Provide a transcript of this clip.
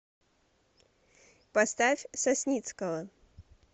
поставь сосницкого